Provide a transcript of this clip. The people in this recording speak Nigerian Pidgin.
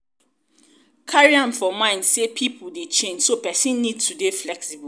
carry am for mind sey pipo dey change so person need to dey flexiible